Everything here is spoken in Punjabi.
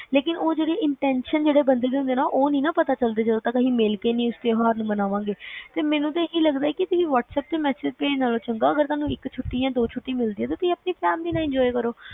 ਲੇਕਿਨ ਉਹ ਜਿਹੜੀ intetion ਜੋ ਹੁੰਦੀ ਆ ਉਹ ਨੀ ਨਾ ਪਤਾ ਲੱਗਦੀ ਜਦੋ ਤੱਕ ਆਪਣਾ ਮਿਲ ਕਿ ਤਿਉਹਾਰ ਨੂੰ ਨੀ ਮਨਾਵਾਂਗੇ ਤੇ ਮੈਨੂੰ ਤਾ ਇਹੀ ਲੱਗਦਾ ਕਿ whatsapp ਤੇ message ਭੇਜਣ ਨਾਲੋਂ ਚੰਗਾ ਤੁਸੀਂ ਇੱਕ ਛੁੱਟੀ ਦੋ ਛੁੱਟੀਆਂ ਮਿਲਦੀਆਂ ਤੁਸੀਂ ਆਪਣੀ family ਨਾਲ enjoy ਕਰੋ